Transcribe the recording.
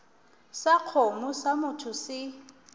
sa kgomo sa motho se